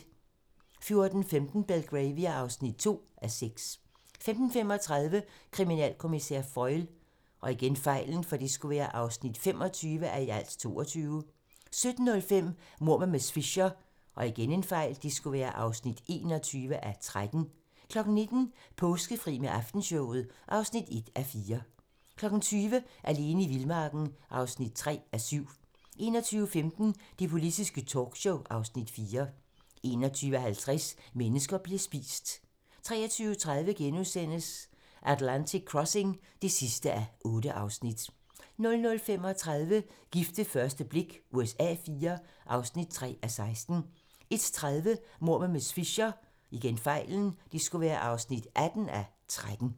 14:45: Belgravia (2:6) 15:35: Kriminalkommissær Foyle (25:22) 17:05: Mord med miss Fisher (21:13) 19:00: Påskefri med Aftenshowet (1:4) 20:00: Alene i vildmarken (3:7) 21:15: Det politiske talkshow (Afs. 4) 21:50: Mennesker bliver spist 23:30: Atlantic Crossing (8:8)* 00:35: Gift ved første blik USA IV (3:16) 01:30: Mord med miss Fisher (18:13)*